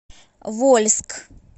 вольск